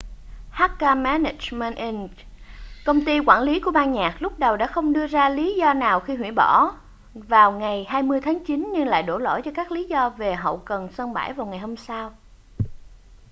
hk management inc công ty quản lý của ban nhạc lúc đầu đã không đưa ra lý do nào khi hủy bỏ vào ngày 20 tháng chín nhưng lại đổ lỗi cho các lý do về hậu cần sân bãi vào ngày hôm sau